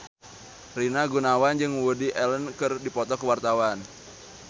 Rina Gunawan jeung Woody Allen keur dipoto ku wartawan